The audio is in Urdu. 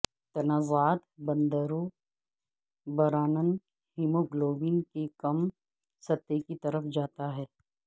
تنازعات بندروں برانن ہیموگلوبن کی کم سطح کی طرف جاتا ہے